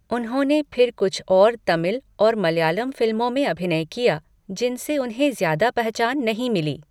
उन्होंने फिर कुछ और तमिल और मलयालम फ़िल्मों में अभिनय किया जिनसे उन्हें ज़्यादा पहचान नहीं मिली।